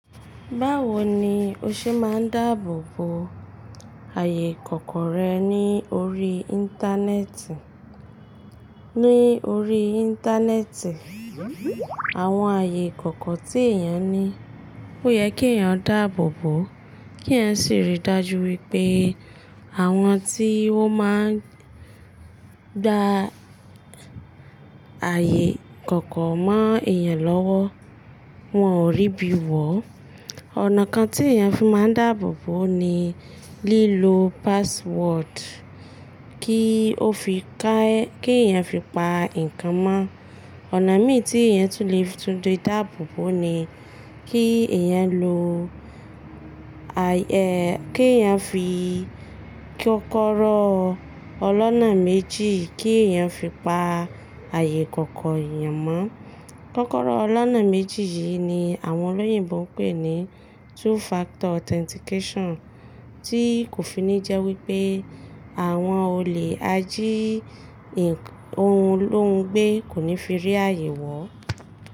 Báwo ni o ṣe máa ń dáàbò bo ààyè ìkọ̀kọ̀ rẹ ní orí Íńtánẹ́ẹ̀tì? Ní orí Íńtánẹ́ẹ̀tì, àwọn ààyè ìkọ̀kọ̀ tí èèyàn ní, ó yẹ kí èèyàn dáàbò bòó, kí èèyàn sì rí i dájú wípé àwọn tí wọ́n máa ń gba ààyè ìkọ̀kọ̀ mọ́ èèyàn lọ́wọ́, wọ́n ò rí'bí wọ̀ó. Ọ̀nà kan tí èèyàn fi máa ń dáàbò bòó ni lílo password kí ó fi kẹ́ kí èèyàn fi pa nǹkan mọ́. Ọ̀nà mí ì tí èèyàn tún lè tún lè dáàbò bo ni kí èèyàn lo ààyè, kí èèyàn fi kọ́kọ́rọ́ ọlọ́nà méjì kí èèyàn fi pa ààyè ìkọ̀kọ̀ èèyàn mọ́. Kọ́kọ́rọ́ ọlọ́nà méjì yìí ni àwọn olóyìnbo ń pè ní two factor authentication tí kò fi ní jẹ́ wípé àwọn olè ají ohun lóhun gbé kò ní fi rí ààyè wọ̀ō.